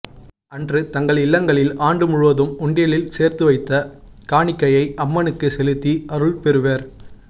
அன்று தங்கள் இல்லங்களில் ஆண்டு முழுவதும் உண்டியலில் சேர்த்து வைத்த காணிக்கையை அம்மனுக்கு செலுத்தி அருள் பெறுவர்